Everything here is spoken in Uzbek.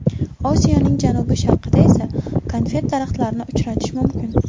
Osiyoning janubi-sharqida esa konfet daraxtlarini uchratish mumkin.